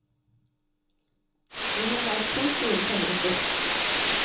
Vi har leid to store tømmerhytter.